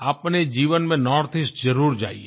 अपने जीवन में नॉर्थईस्ट जरुर जाइये